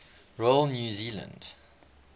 royal new zealand